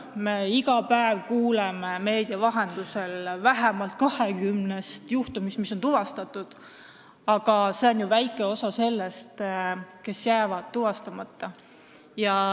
Me kuuleme iga päev meedia vahendusel vähemalt 20-st tuvastatud juhtumist, aga see on väike osa, võrreldes nendega, kes jäävad tuvastamata.